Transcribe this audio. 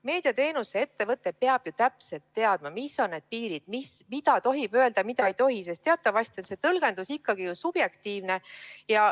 Meediateenuse ettevõte peab ju täpselt teadma, mis on need piirid – mida tohib öelda, mida ei tohi –, sest teatavasti on tõlgendus subjektiivne.